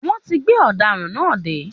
Wọ́n ti gbé ọ̀daràn náà dé